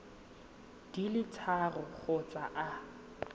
di le tharo kgotsa a